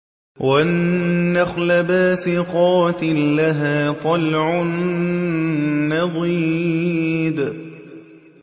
وَالنَّخْلَ بَاسِقَاتٍ لَّهَا طَلْعٌ نَّضِيدٌ